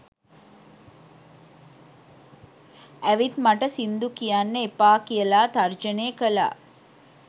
ඇවිත් මට සිංදු කියන්න එපා කියලා තර්ජනය කළා